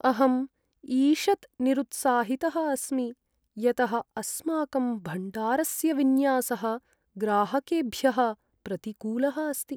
अहम् ईषत् निरुत्साहितः अस्मि यतः अस्माकं भण्डारस्य विन्यासः ग्राहकेभ्यः प्रतिकूलः अस्ति।